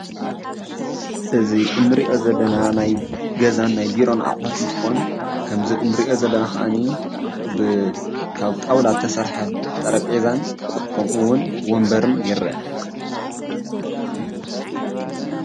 እዚ እንሪኦ ዘለና ናይ ገዛን ናይ ቢሮን ኣቅሑት እንትኾን ከምዚ እንሪኦ ዘለና ከዓ ካብ ጣውላ ዝተሰርሐ ጠረጴዛን ከምኡውን ወንበርን ይረአ፡፡